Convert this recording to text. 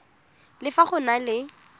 le fa go na le